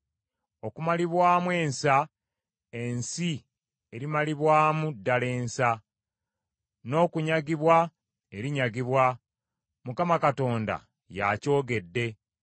Okumalibwamu ensa, ensi erimalibwamu ddala ensa, n’okunyagibwa, erinyagibwa. Mukama Katonda y’akyogedde.